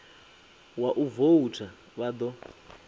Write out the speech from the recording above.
wa u voutha vha ḓo